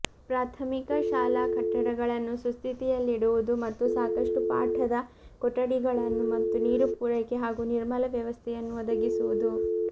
ಪ್ರಾಥಮಿಕ ಶಾಲಾ ಕಟ್ಟಡಗಳನ್ನು ಸುಸ್ಥತಿಯಲ್ಲಿಡುವುದು ಮತ್ತು ಸಾಕಷ್ಟು ಪಾಠಧ ಕೊಠಡಿಗಳನ್ನು ಮತ್ತು ನೀರು ಪೂರೈಕೆ ಹಾಗೂ ನಿರ್ಮಲ ವ್ಯವಸ್ಥೆಯನ್ನು ಒದಗಿಸುವುದು